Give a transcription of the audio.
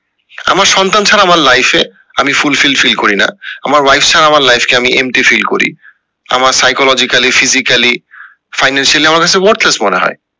আমার সন্তান ছাড়া আমার life এ আমি fulfill feeling করি না আমার wife ছাড়া আমার life কে আমি empty feel করি আমার psychologically, physically, financially আমার কাছে worthless মনে হয়